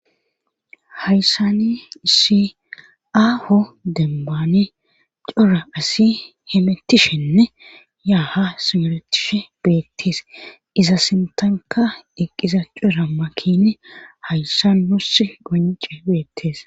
hayssani isi aaho dembaani cora asi hemettishenne ya ha ha simeretishe beettees iza sintanka eqqiza cuuramakkine hayssa nos gonce beettees